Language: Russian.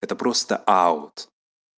это просто аут